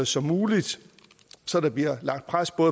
som muligt så der bliver lagt pres på